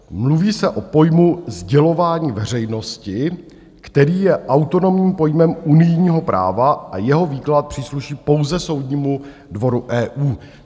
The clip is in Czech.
Mluví se o pojmu "sdělování veřejnosti", který je autonomním pojmem unijního práva, a jeho výklad přísluší pouze soudnímu dvoru EU.